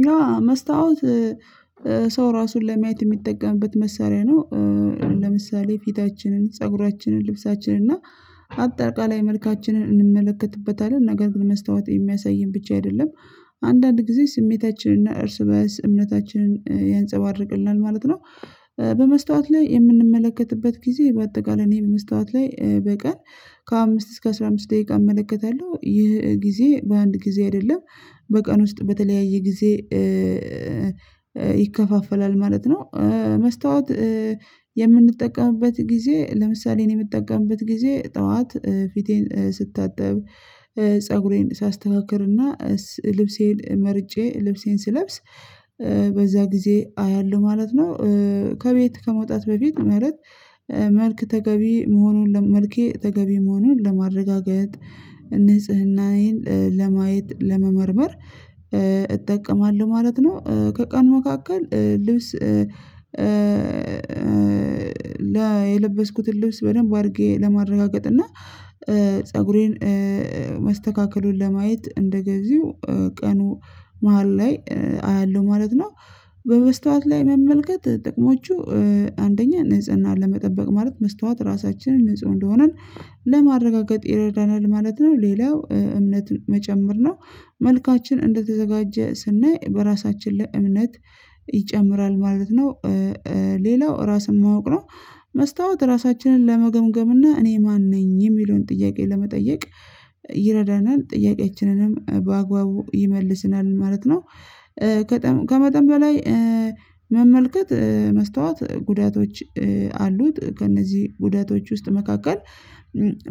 እና መስታወት ሰው ራሱን ለማየት የሚጠቀምበት መሳሪያ ነው። ለምሳሌ ፊታችንን ፀጉራችንን ልብሳችንን እና አጠቃላይ መልካችንን እንመለከትበታለን ነገር ግን መስታወት የሚያሳይን ብቻ አይደለም አንዳንድ ጊዜ ስሜታችንን እና እርስ በእርስ እምነታችንን ያንፀባርቅልናል ማለት ነው። በመስታወት ላይ የምንመለከትበት ጊዜ በአጠቃላይ እኔ በመስታወት ላይ በቀን ከአምስት እስከ አስራ አምስት ደቂቃ እመለከታለሁ ይህ ጊዜ በአንድ ጊዜ አይደለም በቀን ውስጥ በተለያየ ጊዜ ይከፋፈላል ማለት ነው። መስታወት የምንጠቀምበት ጊዜ ለምሳሌ እኔ የምጠቀምበት ጊዜ ጠዋት ፊቴን ስታጠብ ፀጉሬን ሳስተካክልና ልብሴን መርጬ ልብሴን ስለብስ በዛ ጊዜ አያለሁ ማለት ነው። ከቤት ከመውጣት በፊት ማለት መልክ ተገቢ መሆኑን ለመልኬ ተገቢ መሆኑን ለማረጋገጥ ንጽህናዬን ለማየት ለመመርመር እጠቀማለሁ ማለት ነው። ከቀን መካከል ልብስ ላይ የለበስኩትን ልብስ በደንብ አድርጌ ለማረጋገጥ እና ፀጉሬን መስተካከሉን ለማየት እንደገዚሁ ቀኑ መሃል ላይ አያለሁ ማለት ነው። በመስታወት ላይ መመልከት ጥቅሞቹ አንደኛ ንጽህናን ለመጠበቅ ማለት መስታወት ራሳችንን ንጹህ እንደሆነን ለማረጋገጥ ይረዳናል ማለት ነው። ሌላው እምነት መጨመር ነው መልካችን እንደተዘጋጀ ስናይ በራሳችን ላይ እምነት ይጨምራል ማለት ነው። ሌላው ራስን ማወቅ ነው መስታወት ራሳችንን ለመገምገም እና እኔ ማን ነኝ የሚለውን ጥያቄ ለመጠየቅ ይረዳናል ጥያቄችንንም በአግባቡ ይመልስናል ማለት ነው። ከመጠን በላይ መመልከት መስታወት ጉዳቶች አሉት ከእነዚህ ጉዳቶች ውስጥ መካከል